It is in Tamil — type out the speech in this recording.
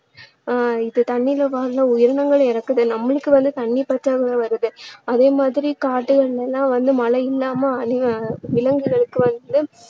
ஆஹ் இப்போ தண்ணீருல வாழுற உயிரினங்கள் இறக்குது நம்மளுக்கு வந்து தண்ணீர் பற்றாக்குறை வருது அதே மாதிரி காடுகளில எல்லாம் வந்து மழை இல்லாம அழிய~ விலங்குகளுக்கு வந்து